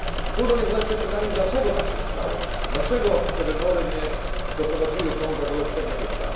Trudno nie zadać sobie pytania, dlaczego tak się stało, dlaczego te wybory nie doprowadziły Konga do lepszego życia.